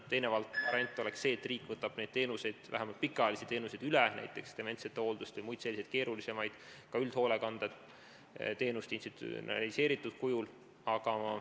Teine variant oleks see, et riik võtab neid teenuseid, vähemalt pikaajalisi teenuseid üle, näiteks dementsete hooldust ja muid selliseid keerulisemaid teenuseid, ka üldhoolekandeteenuseid institutsionaliseeritud kujul.